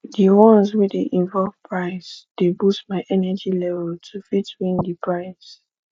di ones wey de involve price de boost my energy level to fit win di price